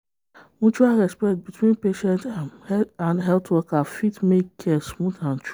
mutual respect between patient um and health worker fit make care smooth and true.